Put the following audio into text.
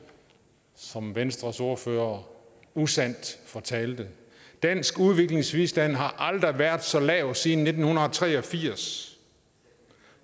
som venstres ordfører usandt fortalte dansk udviklingsbistand har aldrig været så lav siden nitten tre og firs